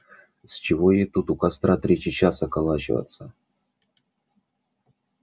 с чего ей тут у костра третий час околачиваться